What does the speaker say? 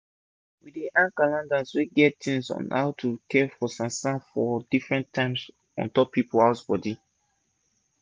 we dey hang calendars wey get tins on how to care for san-san for different tims ontop people house bodi